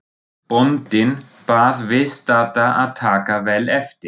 Bóndinn bað viðstadda að taka vel eftir.